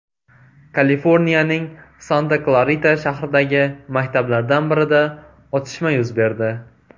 Kaliforniyaning Santa-Klarita shahridagi maktablardan birida otishma yuz berdi.